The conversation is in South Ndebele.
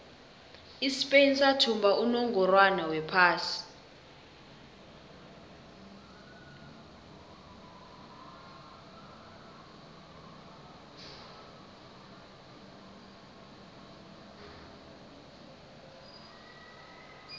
ispain sathumba unongorwond wephasi